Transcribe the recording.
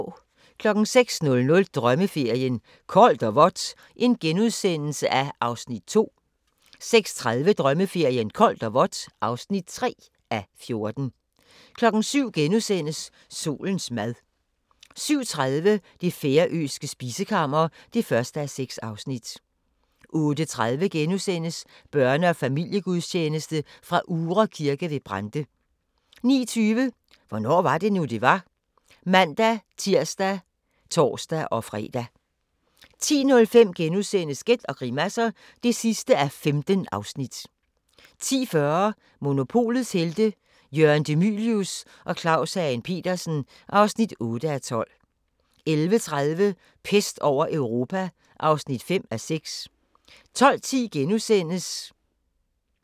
06:00: Drømmeferien: Koldt og vådt (2:14)* 06:30: Drømmeferien: Koldt og vådt (3:14) 07:00: Solens mad * 07:30: Det færøske spisekammer (1:6) 08:30: Børne- og familiegudstjeneste fra Uhre Kirke ved Brande * 09:20: Hvornår var det nu, det var? (man-tir og tor-fre) 10:05: Gæt og grimasser (15:15)* 10:40: Monopolets Helte – Jørgen De Mylius og Claus Hagen Petersen (8:12) 11:30: Pest over Europa (5:6) 12:10: Hvornår var det nu, det var? *